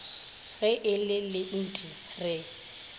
ge e le lenti re